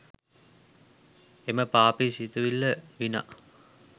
එම පාපි සිතිවිල්ල විනා